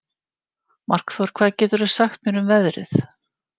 Markþór, hvað geturðu sagt mér um veðrið?